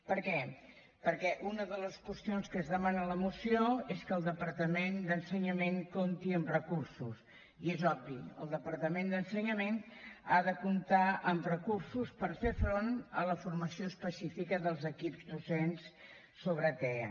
per què perquè una de les qüestions que es demana a la moció és que el departament d’ensenyament compti amb recursos i és obvi el departament d’ensenyament ha de comptar amb recursos per fer front a la formació específica dels equips docents sobre tea